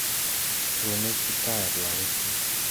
Kurenech kiptayat lakokkyik